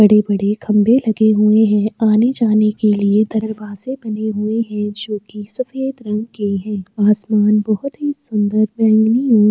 बड़े-बड़े खम्भे लगे हुए हैं आने-जाने के लिए दरवाजें बने हुए हैं जो की सफेद रंग के हैं। आसमान बहुत ही सुन्दर बैगनी और --